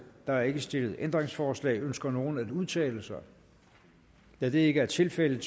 er ikke stillet ændringsforslag ønsker nogen at udtale sig da det ikke er tilfældet